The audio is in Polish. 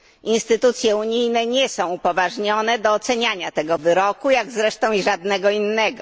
Instytucje unijne nie są upoważnione od oceniania tego wyroku, jak zresztą i żadnego innego.